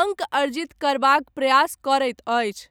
अङ्क अर्जित करबाक प्रयास करैत अछि।